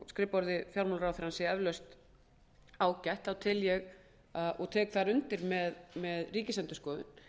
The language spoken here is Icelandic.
skrifborði fjármálaráðherrans sé eflaust ágætt tel ég og tek þar undir með ríkisendurskoðun